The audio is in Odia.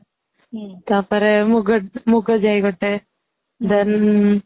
ତାପରେ ମୁଗ ,ମୁଗ ଜାଇ ଗୋଟେ ମିଳେ then